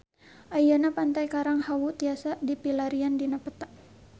Ayeuna Pantai Karang Hawu tiasa dipilarian dina peta